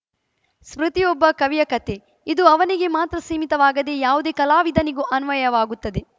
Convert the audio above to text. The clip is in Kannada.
ಸ್ಮೃತಿ ಒಬ್ಬ ಕವಿಯ ಕತೆ ಇದು ಅವನಿಗೆ ಮಾತ್ರ ಸೀಮಿತವಾಗದೇ ಯಾವುದೇ ಕಲಾವಿದನಿಗೂ ಅನ್ವಯವಾಗುತ್ತದೆ